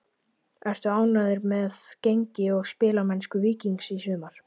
Ertu ánægður með gengi og spilamennsku Víkings í sumar?